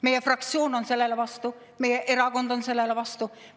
Meie fraktsioon on sellele vastu, meie erakond on sellele vastu.